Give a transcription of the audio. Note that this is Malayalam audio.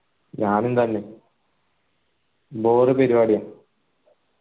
ഞാനും തന്നെ bore പരിവാടിയ